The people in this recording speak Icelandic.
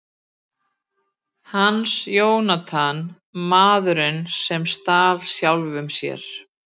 Hans Jónatan: Maðurinn sem stal sjálfum sér.